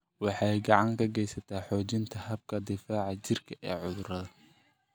Waxay gacan ka geysataa xoojinta habka difaaca jirka ee cudurrada.